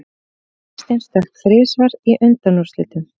Kristinn stökk þrisvar í undanúrslitunum